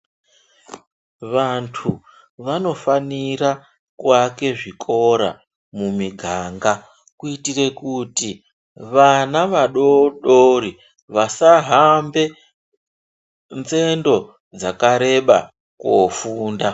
Vantu vanofanire kuaka zvikora zvakawanda mumuganga kuitire kuti vana vadoodori vasahambe nzendo dzakareba koofunda.